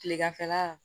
Kileganfɛla